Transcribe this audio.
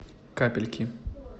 капельки